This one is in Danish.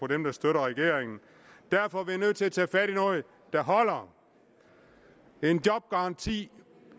dem der støtter regeringen derfor er vi nødt til at tage fat i noget der holder en jobgaranti